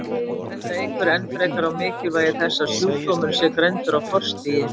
þetta eykur enn frekar á mikilvægi þess að sjúkdómurinn sé greindur á forstigi